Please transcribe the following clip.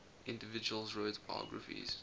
individuals wrote biographies